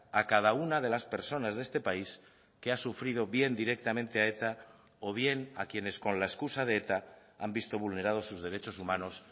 a cada una de las personas de este país que ha sufrido bien directamente a eta o bien a quienes con la excusa de eta han visto vulnerados sus derechos humanos